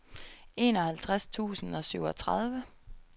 enoghalvtreds tusind og syvogtredive